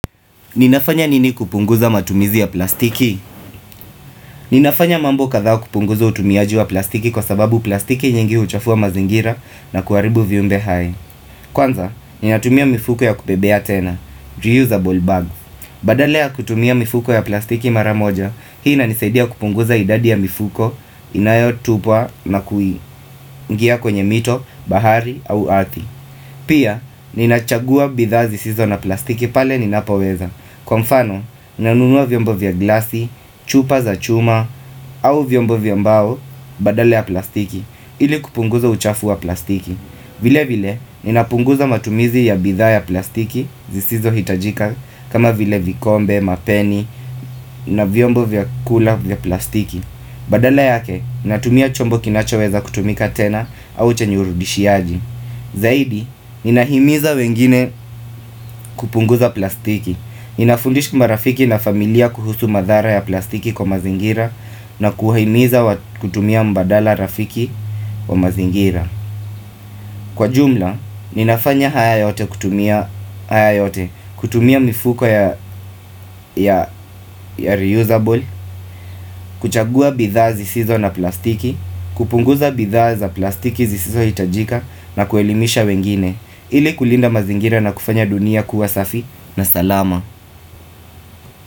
Ninafanya nini kupunguza matumizi ya plastiki? Ninafanya mambo kathaa kupunguza utumiaji wa plastiki kwa sababu plastiki nyingi huchafua mazingira na kuharibu viumbe haya. Kwanza, ninatumia mifuko ya kubebea tena, reusable bags. Badala ya kutumia mifuko ya plastiki maramoja, hii inanisaidia kupunguza idadi ya mifuko inayotupwa nakuingia kwenye mito, bahari au ardhi. Pia, ninachagua bidhaa zisizo na plastiki pale ninapoweza. Kwa mfano nanunua vyombo vya glasi, chupa za chuma au vyombo vya mbao badala ya plastiki ili kupunguza uchafu wa plastiki vile vile ninapunguza matumizi ya bidhaa ya plastiki zisizohitajika kama vile vikombe, mapeni na vyombo vya kula vya plastiki Badala yake natumia chombo kinachoweza kutumika tena au chenye urudishiaji Zaidi ninahimiza wengine kupunguza plastiki Ninafundisha marafiki na familia kuhusu madhara ya plastiki kwa mazingira na kuwahimiza kutumia mbadala rafiki wa mazingira Kwa jumla, ninafanya haya yote kutumia haya yote kutumia mifuko ya reusable, kuchagua bidhaa zisizo na plastiki, kupunguza bidhaa za plastiki zisizo hitajika na kuelimisha wengine ili kulinda mazingira na kufanya dunia kuwa safi na salama.